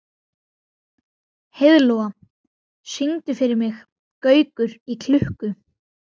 Heiðlóa, syngdu fyrir mig „Gaukur í klukku“.